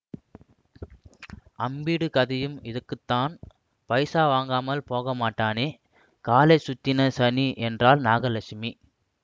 அம்பிடு கதையும் இதுக்குத்தான் பைசா வாங்காம போகமாட்டானேகாலைச்சுத்தின சனி என்றாள் நாகலட்சுமி